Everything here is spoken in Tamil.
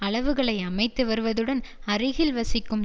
அளவுகளை அமைத்து வருவதுடன் அருகில் வசிக்கும்